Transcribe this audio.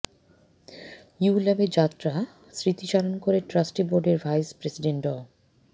ইউল্যাবের যাত্রার স্মৃতিচারণ করে ট্রাস্টি বোর্ডের ভাইস প্রেসিডেন্ট ড